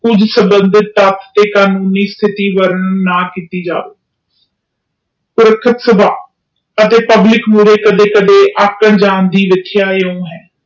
ਉਸ ਸ਼ਬਦ ਤੇ ਕਾਨੂੰਨੀ ਕਾਰਵਾਈ ਨਾ ਕੀਤੀ ਜਾਵੇ ਅਤੇ ਪਬਲਿਕ ਅਗੇ ਅਕਰਡ ਜਾਨ ਲਾਇਉ ਰਖਿਆ ਹੈ